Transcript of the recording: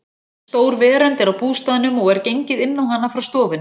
Stór verönd er á bústaðnum og er gengið inn á hana frá stofunni.